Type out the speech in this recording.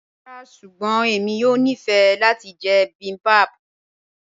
Ràrá ṣùgbọ́n ẹ̀mi yóò ní fẹ́ lati jẹ̀ bibimbap